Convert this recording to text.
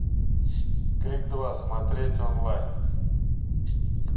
крик два смотреть онлайн